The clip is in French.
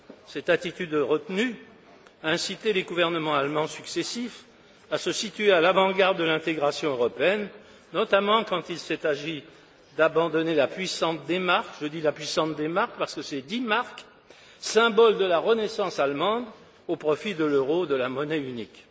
Cette attitude retenue incitait les gouvernements allemands successifs à se situer à l'avant garde de l'intégration européenne, notamment quand il s'est agi d'abandonner la puissante DMark je dis la puissante DMark, parce que c'est 10 marks symbole de la renaissance allemande, au profit de l'euro, de la monnaie unique.